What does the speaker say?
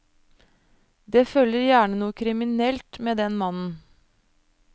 Det følger gjerne noe kriminelt med den mannen.